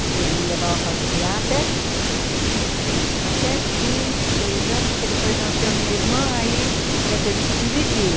Ele me levava a passear até até cinco, seis anos, porque depois nasceu minha irmã aí eu tive que dividir.